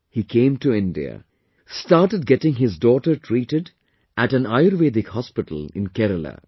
He came to India, started getting his daughter treated at an Ayurvedic hospital in Kerala